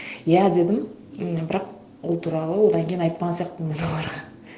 иә дедім м бірақ ол туралы одан кейін айтпаған сияқтымын оларға